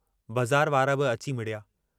बज़ार वारा बि अची मिड़िया।